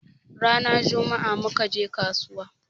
Rana jummaa muka je kasuwa